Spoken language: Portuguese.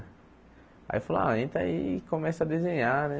Aí falou ah, entra aí e começa a desenhar, né?